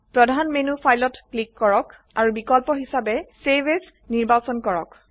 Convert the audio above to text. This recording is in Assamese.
প্ৰধান মেনত ফাইলত ক্লিক কৰক আৰু বিকল্প হিসাবে চেভ এএছ নিৰ্বাচন কৰক